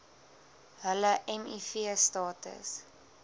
hulle miv status